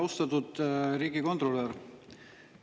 Austatud riigikontrolör!